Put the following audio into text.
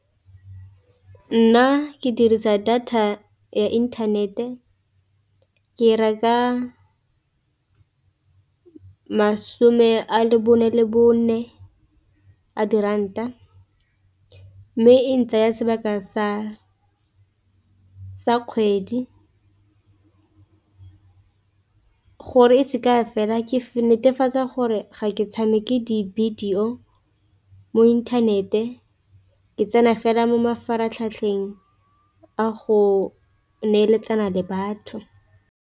Nna ke dirisa data ya inthanete ke e reka masome a bone le bone a diranta, mme e ntsaya sebaka sa kgwedi. Gore e seke ya fela ke netefatsa gore ga ke tshameke di-video mo inthanete ke tsena fela mo mafaratlhatlheng a go neeletsana le batho.